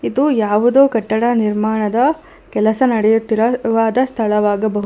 ಇದು ಯಾವುದೋ ಕಟ್ಟಡ ನಿರ್ಮಾಣದ ಕೆಲಸ ನಡೆಯುತ್ತಿರುವದ ಸ್ಥಳವಾಗ--